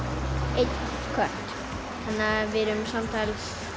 einn kött þannig að við erum samtals